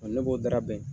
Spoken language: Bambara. ne b'o da bɛn